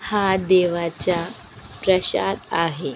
हा देवाचा प्रशाद आहे.